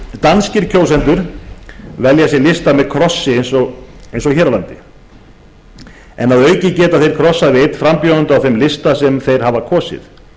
danskir kjósendur velja sér lista með krossi eins og hér en að auki geta þeir krossað við einn frambjóðanda á þeim lista sem þeir hafa kosið